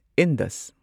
Indus